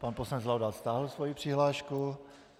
Pan poslanec Laudát stáhl svoji přihlášku.